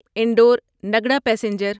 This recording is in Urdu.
انڈور نگڑا پیسنجر